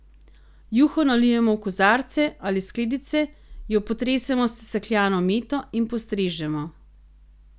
Juho nalijemo v kozarce ali skledice, jo potresemo s sesekljano meto in postrežemo.